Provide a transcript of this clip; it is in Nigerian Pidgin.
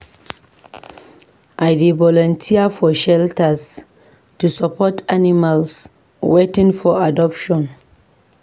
I dey volunteer at shelters to support animals waiting for adoption.